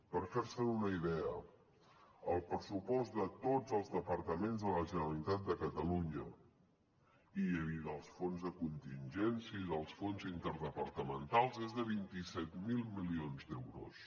per fer se’n una idea el pressupost de tots els departaments de la generalitat de catalunya i dels fons de contingència i dels fons interdepartamentals és de vint set mil milions d’euros